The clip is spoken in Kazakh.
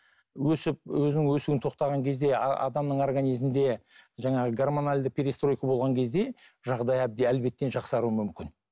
өсіп өзінің өсуін тоқтаған кезде адамның организмінде жаңағы гормоналды перестройка болған кезде жағдайы әлбетте жақсаруы мүмкін